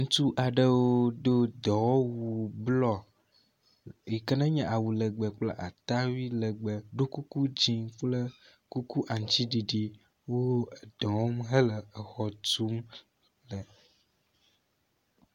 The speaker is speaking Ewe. Ŋutsu aɖewo do dɔwɔwu blɔ yi ke nenye awu legbe kple atawui legbe ɖo kuku dzi kple kuku aŋtsiɖiɖi wo edɔ wɔm hele exɔ tum le.